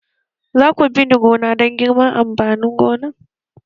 Za ku bi ni gona don girban amfanin gonar!